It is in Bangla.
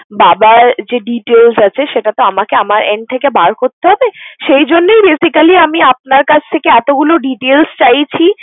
বাবার যে details আছে সেটা তো আমাকে আমার end থেকে বার করতে হবে। সেই জন্যই basically আমি আপনার কাছ থেকে এতগুলো details চাইছি।